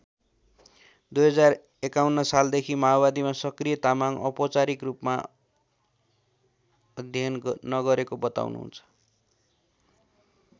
२०५१ साल देखि माओवादीमा सक्रिय तामाङले औपचारिक रूपमा अध्ययन नगरेको बताउनुहुन्छ।